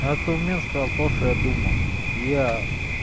этот мент сказал то что я думал я